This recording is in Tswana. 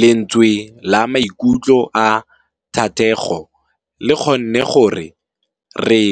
Lentswe la maikutlo a Thategô le kgonne gore re